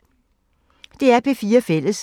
DR P4 Fælles